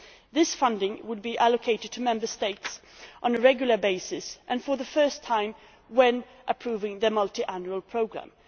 This funding would be allocated to Member States on a regular basis and for the first time when approving their multiannual programme.